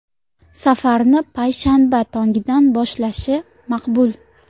Safarni payshanba tongidan boshlashi maqbul.